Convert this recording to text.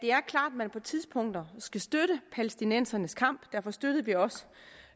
man på tidspunkter skal støtte palæstinensernes kamp derfor støttede vi også